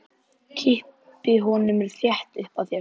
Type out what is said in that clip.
Kippi honum þétt upp að mér.